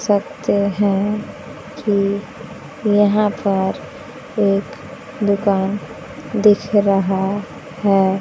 सकते हैं कि यहां पर एक दुकान दिख रहा है।